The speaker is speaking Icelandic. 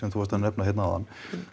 þú varst að nefna hérna áðan